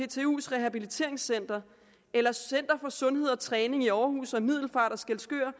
ptus rehabiliteringscenter eller center for sundhed og træning i århus og middelfart og skæskør